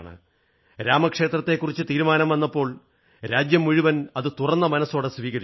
രാമക്ഷേത്രത്തെക്കുറിച്ച് തീരുമാനം വന്നപ്പോൾ രാജ്യം മുഴുവൻ അത് തുറന്ന മനസ്സോടെ സ്വീകരിച്ചു